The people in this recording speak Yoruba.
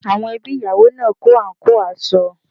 Àwọn ẹbí ìyàwó náà kó àǹkóò aṣọ